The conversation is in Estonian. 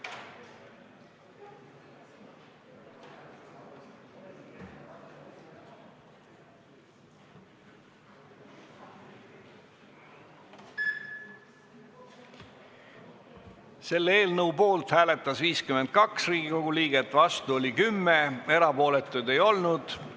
Hääletustulemused Selle eelnõu poolt hääletas 52 Riigikogu liiget, vastu oli 10, erapooletuid ei olnud.